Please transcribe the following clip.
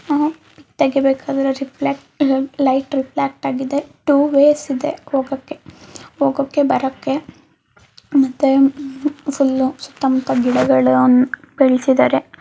ತೆಗೆಬೇಕಾದ್ರೆ reflect light reflect ಆಗಿದೆ ಇದೆ ಮುಖಕ್ಕೆ ಮುಖುಕ್ಕೆ ಬರತ್ತೆ ಮತ್ತೆ ಸುತ್ತ ಮುತ್ತ ಗಿಡಗಳ್ನ ಬೆಳ್ಸಿದಾರೆ.